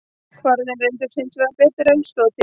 Kvarðinn reyndist hins vegar betur en til stóð.